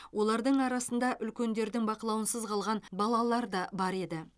олардың арасында үлкендердің бақылауынсыз қалған балалар да бар еді